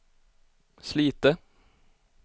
Slite